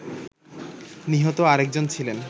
নিহত আরেকজন ছিলেন